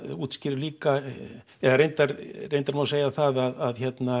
útskýrir líka eða reyndar reyndar má segja það að